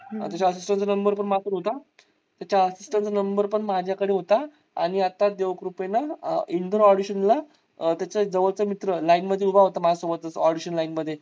त्याचा assistant चा number पण माझ्याकडे होता. त्याचा assistant चा number पण माझ्याकडे होता. आणि आता देवकृपेन audition ला त्याच्या एक जवळचा मित्र line मध्ये उभा होता माझ्या सोबत audition line मध्ये